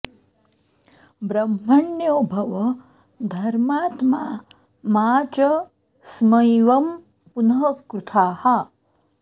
ब्रह्मण्यो भव धर्मात्मा मा च स्मैवं पुनः कृथाः